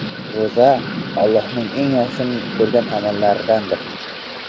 Ro‘za Alloh eng yaxshi ko‘rgan amallardandir.